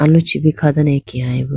aluchi bo kha dane akeyay bo.